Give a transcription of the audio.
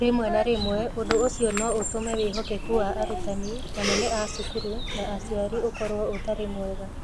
Rĩmwe na rĩmwe ũndũ ũcio no ũtũme wĩhokeku wa arutani, anene a cukuru, na aciari ũkorũo ũtarĩ mwega.